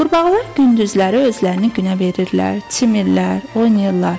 Qurbağalar gündüzləri özlərini günə verirlər, çimirlər, oynayırlar.